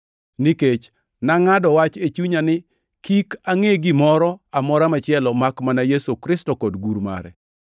Nikech nangʼado wach e chunya ni kik angʼe gimoro amora machielo makmana Yesu Kristo kod gur mare.